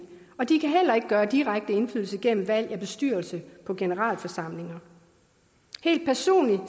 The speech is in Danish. og de kan heller ikke have direkte indflydelse gennem valg af bestyrelse på generalforsamlinger helt personligt har